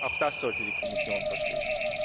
es. Auch das sollte die Kommission verstehen.